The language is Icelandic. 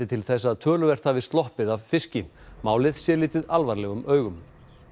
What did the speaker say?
til þess að töluvert hafi sloppið af fiski málið sé litið alvarlegum augum